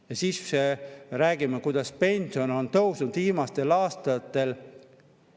Ja siis me räägime, kuidas pension on tõusnud viimastel aastatel.